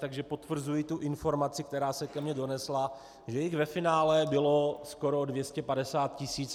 Takže potvrzuji tu informaci, která se ke mně donesla - že jich ve finále bylo skoro 250 tis.